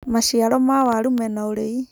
maciaro ma waru mena urii